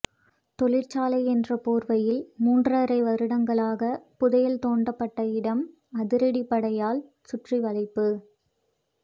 தொழிற்சாலை என்ற போர்வையில் மூன்றரை வருடங்களாக புதையல் தோண்டப்பட்ட இடம் அதிரடிப்படையால் சுற்றிவளைப்பு